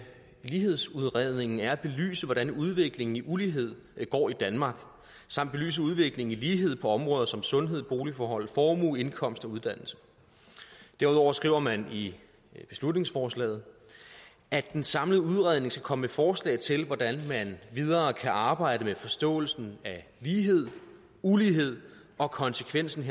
lighedsudredningen er at belyse hvordan udviklingen i ulighed går i danmark samt belyse udviklingen i lighed på områder som sundhed boligforhold formue indkomst og uddannelse derudover skriver man i beslutningsforslaget at den samlede udredning skal komme med forslag til hvordan man videre kan arbejde med forståelsen af lighed ulighed og konsekvensen